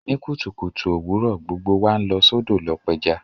Ní kùtùkùtù òwurọ̀, gbogbo wa n lọ sódò lo pẹja